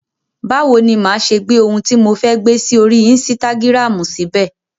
Báwo ni máa ṣe gbé ohun tí mo fẹ́ gbé sí orí insitagiramu síbẹ̀?